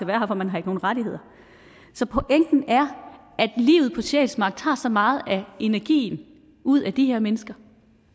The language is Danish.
være her for man har ikke nogen rettigheder så pointen er at livet på sjælsmark tager så meget af energien ud af de her mennesker